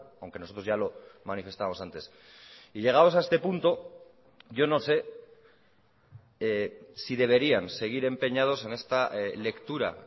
aunque nosotros ya lo manifestamos antes y llegados a este punto yo no sé si deberían seguir empeñados en esta lectura